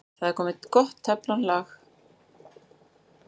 Þá er komið gott teflon-lag ofan á pönnuna.